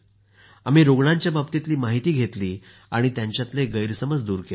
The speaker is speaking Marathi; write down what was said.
आम्ही रूग्णांच्या बाबतीतील माहिती घेतली आणि त्यांच्यातील गैरसमज दूर केले